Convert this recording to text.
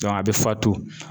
a bɛ fatu.